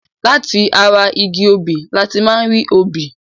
Lati ara igi obì láti máa ń rí obì